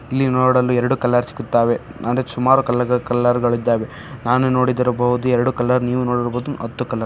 ಇಲ್ಲಿ ನೋಡಲು ಎರಡು ಕಲರ್ ಸಿಗುತ್ತಾವೆ. ಆದ್ರೆ ಸುಮಾರ್ ಕಲರ್ ಕಲರ್ಗ ಳಿದ್ದಾವೆ. ನಾನೇ ನೋಡದಿರಬಹುದು ಎರಡು ಕಲರ್ ನೀವು ನೋಡಿರಬಹುದು ಹತ್ತು ಕಲರ್ .